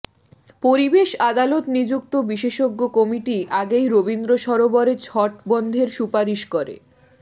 পরিবেশ আদালত নিযুক্ত বিশেষজ্ঞ কমিটি আগেই রবীন্দ্র সরোবরে ছট বন্ধের সুপারিশ করে